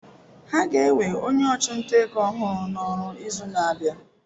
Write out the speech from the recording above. Ha ga-ewe onye ọchụnta ego ọhụrụ n'ọrụ n'izu na-abịa.